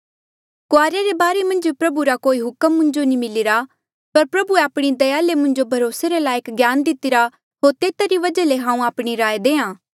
कुआरिया रे बारे मन्झ प्रभु रा कोई हुक्म मुंजो नी मिलिरा पर प्रभुए आपणी दया ले मुंजो भरोसे रे लायक ज्ञान दितिरा होर तेता री वजहा ले हांऊँ आपणी राय देहां